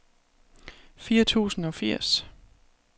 fire tusind og firs